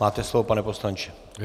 Máte slovo, pane poslanče.